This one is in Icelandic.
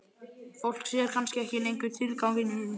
Fólk sér kannski ekki lengur tilganginn í því.